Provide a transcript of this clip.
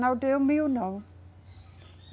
Não deu mil, não.